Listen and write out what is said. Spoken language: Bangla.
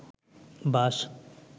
বাশ